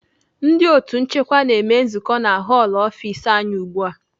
Ndị otu nchịkwa na-eme nzukọ na họlụ ọfis anyị ugbu a.